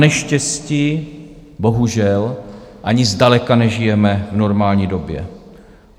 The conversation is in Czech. Naneštěstí bohužel ani zdaleka nežijeme v normální době.